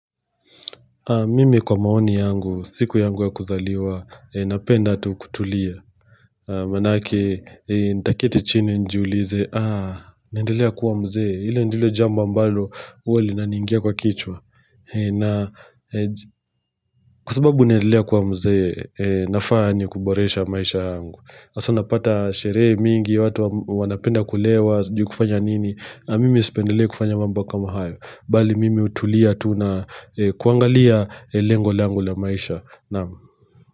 Mimi kwa maoni yangu, siku yangu ya kuzaliwa, napenda tu kutulia. Manake, nitaketi chini nijiulize, ah, neendelea kuwa mzee. Ile ndilo jambo ambalo, huwa linaniingia kwa kichwa. Kwa subabu neendelea kuwa mzee, nafaa ni kuboresha maisha yangu. Hasa unapata sherehe mingi, watu wanapenda kulewa, sijui kufanya nini. Mimi sipendelei kufanya mambo kama hayo. Bali mimi hutulia tu na kuangalia lengo langu la maisha.